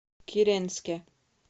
киренске